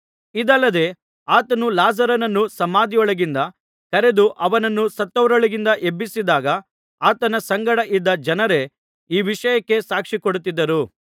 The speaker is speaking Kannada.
ಇದಲ್ಲದೆ ಆತನು ಲಾಜರನನ್ನು ಸಮಾಧಿಯೊಳಗಿಂದ ಕರೆದು ಅವನನ್ನು ಸತ್ತವರೊಳಗಿಂದ ಎಬ್ಬಿಸಿದಾಗ ಆತನ ಸಂಗಡ ಇದ್ದ ಜನರೇ ಈ ವಿಷಯಕ್ಕೆ ಸಾಕ್ಷಿಕೊಡುತ್ತಿದ್ದರು